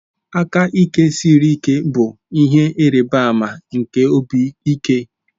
Aka ike siri ike bụ ihe ịrịba ama nke obi ike.